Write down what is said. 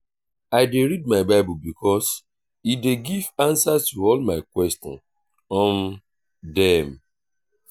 i dey read my bible because e dey give answer to all my question um dem.